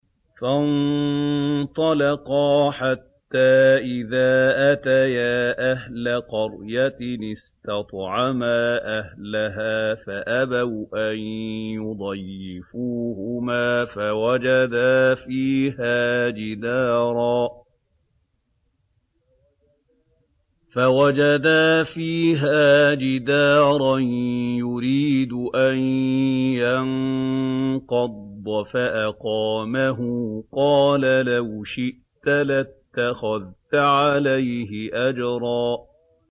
فَانطَلَقَا حَتَّىٰ إِذَا أَتَيَا أَهْلَ قَرْيَةٍ اسْتَطْعَمَا أَهْلَهَا فَأَبَوْا أَن يُضَيِّفُوهُمَا فَوَجَدَا فِيهَا جِدَارًا يُرِيدُ أَن يَنقَضَّ فَأَقَامَهُ ۖ قَالَ لَوْ شِئْتَ لَاتَّخَذْتَ عَلَيْهِ أَجْرًا